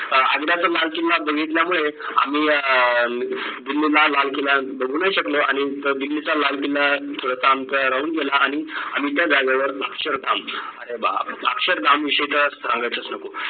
आग्राचा लाल किल्ला बघितल्यामुळे आम्ही अं दिल्लीला लाल किल्ला बघू नाय शकलो आणि दिल्लीचा लाल किल्ला थोडासा आमचा राहून गेला आणि आम्ही त्या जागेवर अक्षरधाम अरे बापरे अक्षर धाम विषयी तर सांगायलाच नको